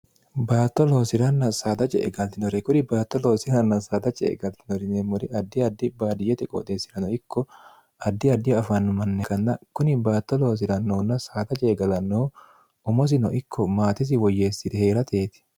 baatto loosi'ranna saadace e galtinore kuri baatto loosiranna saada ce e galtinori neemmori addi addi baadiyyete qooxeessi'rano ikko addi addiho afaannu manni kanna kuni baatto loosi'rannohunna saada ce egalannohu omosino ikko maatesi woyyeessire hee'rateeti